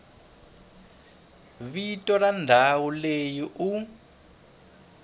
vito ra ndhawu leyi u